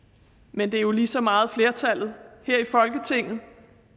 men det er jo lige så meget flertallet her i folketinget